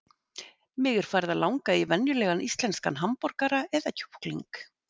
Mig er farið að langa í venjulegan íslenskan hamborgara eða kjúkling.